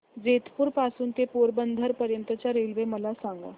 जेतपुर पासून ते पोरबंदर पर्यंत च्या रेल्वे मला सांगा